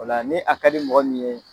O la ni a ka di mɔgɔ min ye